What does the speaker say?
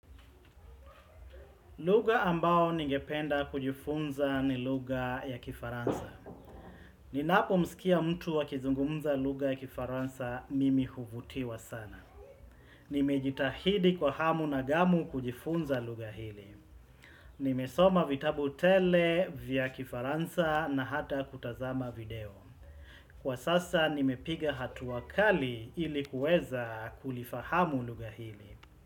Lugha ambao ningependa kujifunza ni lugha ya kifaransa. Ninapomsikia mtu akizungumza lugha ya kifaransa mimi huvutiwa sana. Nimejitahidi kwa hamu na ghamu kujifunza lugha hili. Nimesoma vitabu tele vya kifaransa na hata kutazama video. Kwa sasa nimepiga hatua kali ili kuweza kulifahamu lugha hili.